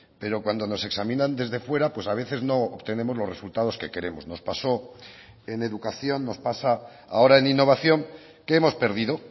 pero cuando nos examinan desde fuera pues a veces no obtenemos los resultados que queremos nos pasó en educación nos pasa ahora en innovación que hemos perdido